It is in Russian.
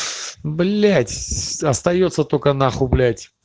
блядь остаётся только нахуй блять